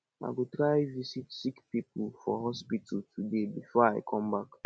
i go try visit sick pipu for hospital today before i come back